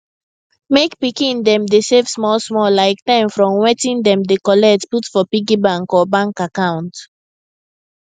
make pikin dem dey save smallsmall like ten from wetin dem dey collect put for piggy bank or bank account